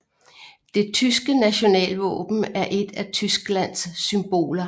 Det tyske nationalvåben er et af Tysklands symboler